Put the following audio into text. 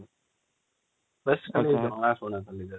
ବେଶ ଖାଲି ଜଣାଶୁଣା କୁଣିଆ